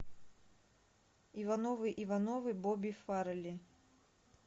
ивановы ивановы бобби фаррелли